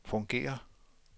fungerer